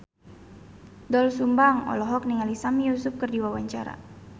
Doel Sumbang olohok ningali Sami Yusuf keur diwawancara